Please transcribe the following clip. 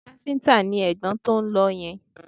Ṣé káfíńtà ni ẹ̀gbọ́n tó ń lọ yẹn?